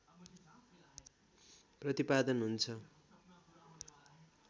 प्रतिपादन हुन्छ